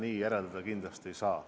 Ei, seda järeldada kindlasti ei saa.